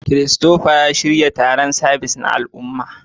Christopher, shirya taron sabis na al'umma.